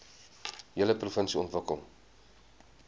hele provinsie ontwikkel